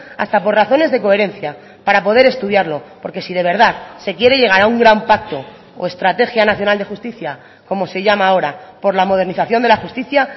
hasta por razones de coherencia para poder estudiarlo porque si de verdad se quiere llegar a un gran pacto o estrategia nacional de justicia como se llama ahora por la modernización de la justicia